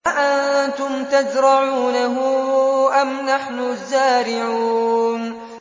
أَأَنتُمْ تَزْرَعُونَهُ أَمْ نَحْنُ الزَّارِعُونَ